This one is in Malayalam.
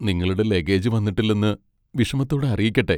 നിങ്ങളുടെ ലഗേജ് വന്നിട്ടില്ലെന്ന് വിഷമത്തോടെ അറിയിക്കട്ടെ.